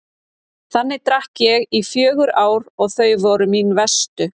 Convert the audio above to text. Þannig drakk ég í fjögur ár og þau voru mín verstu.